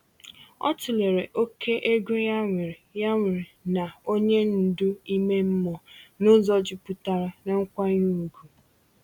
O tụlere oke ego ya nwere ya nwere na onye ndu ime mmụọ n’ụzọ jupụtara n’nkwanye ùgwù.